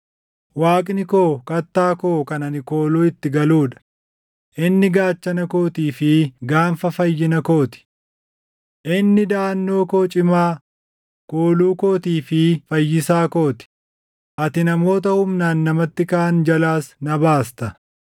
Waaqni koo kattaa koo kan ani kooluu itti galuu dha; inni gaachana kootii fi gaanfa fayyina koo ti. Inni daʼannoo koo cimaa, kooluu kootii fi fayyisaa koo ti; ati namoota humnaan namatti kaʼan jalaas na baasta.